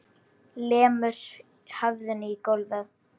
Lemur höfðinu í gólfið.